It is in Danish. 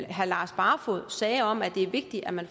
herre lars barfoed sagde om at det er vigtigt at man